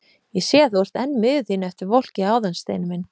Ég sé að þú ert enn miður þín eftir volkið áðan, Steini minn!